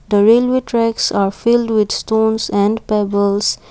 the railway tracks are filled with stones and pebbles.